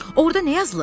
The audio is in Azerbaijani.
Orda nə yazılıb?